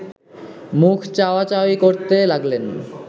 মুখ চাওয়া-চাওয়ি করতে লাগলেন